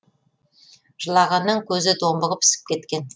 жылағаннан көзі домбығып ісіп кеткен